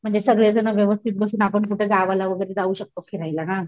म्हणजे सगळे जण व्यवस्थित बसून आपण कुठे गावाला वगैरे जाऊ शकतो फिरायला ना